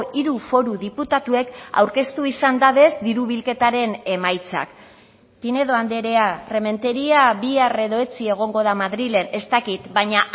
hiru foru diputatuek aurkeztu izan dabez diru bilketaren emaitzak pinedo andrea rementeria bihar edo etzi egongo da madrilen ez dakit baina